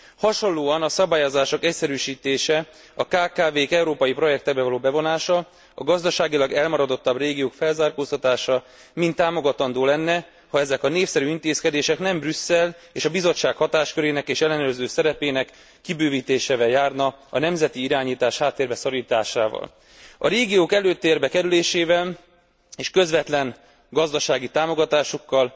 Hasonlóan a szabályok egyszerűsítése, a kkv k európai projektbe való bevonása, a gazdaságilag elmaradottabb régiók felzárkóztatása mind támogatandó lenne, ha ezek a népszerű intézkedések nem Brüsszel és a Bizottság hatáskörének és ellenőrző szerepének kibővítésével járnának a nemzeti irányítás háttérbe szorításával. A régiók előtérbe kerülésével és közvetlen gazdasági támogatásukkal